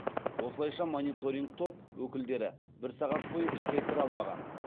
осылайша мониторинг топ өкілдері бір сағат бойы ішке кіре алмаған